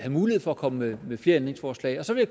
mulighed for at komme med flere ændringsforslag og så vil